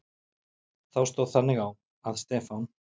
Þá stóð þannig á, að Stefán